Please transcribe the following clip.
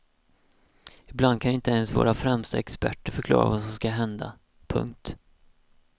Ibland kan inte ens våra främsta experter förklara vad som ska hända. punkt